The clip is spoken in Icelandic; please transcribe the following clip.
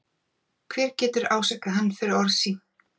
Hver getur ásakað hann fyrir orð sín?